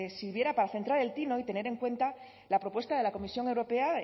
sirviera para centrar el tiro y tener en cuenta la propuesta de la comisión europea